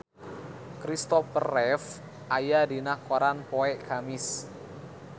Kristopher Reeve aya dina koran poe Kemis